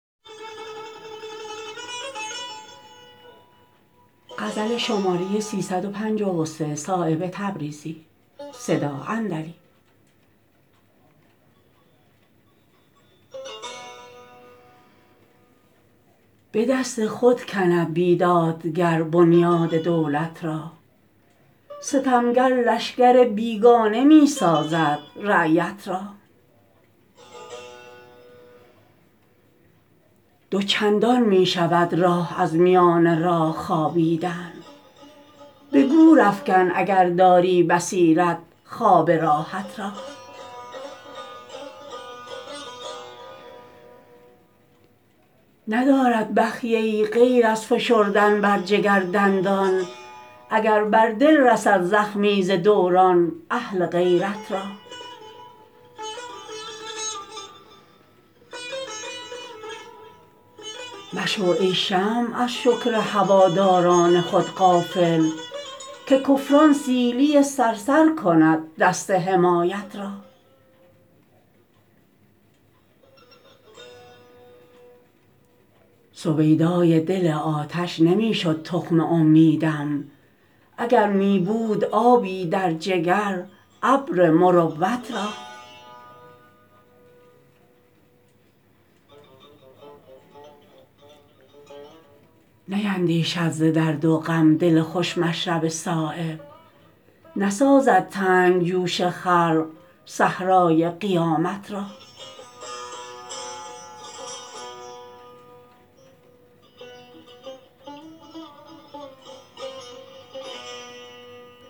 به دست خود کند بیدادگر بنیاد دولت را ستمگر لشکر بیگانه می سازد رعیت را دو چندان می شود راه از میان راه خوابیدن به گورافکن اگر داری بصیرت خواب راحت را ندارد بخیه ای غیر از فشردن بر جگر دندان اگر بر دل رسد زخمی ز دوران اهل غیرت را مشو ای شمع از شکر هواداران خود غافل که کفران سیلی صرصر کند دست حمایت را سویدای دل آتش نمی شد تخم امیدم اگر می بود آبی در جگر ابر مروت را نیندیشد ز درد و غم دل خوش مشرب صایب نسازد تنگ جوش خلق صحرای قیامت را